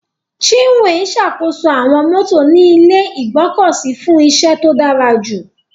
Chinwe ṣàkóso àwọn mọ́tò ní ilé ìgbọ́kọ̀sí fún iṣẹ́ tó dára jù.